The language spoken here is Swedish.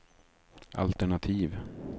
altenativ